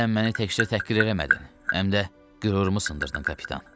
Sən məni təkcə təhqir eləmədin, həm də qürurumu sındırdın, kapitan.